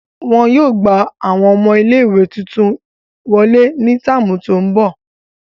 Wọn yóô gba awọn ọmọ ìlé-ìwé tuntun yóò wọle ni táámu to ńbọ.